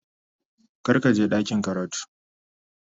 Kar ka je ɗakin karatu.